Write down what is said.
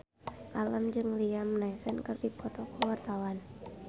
Alam jeung Liam Neeson keur dipoto ku wartawan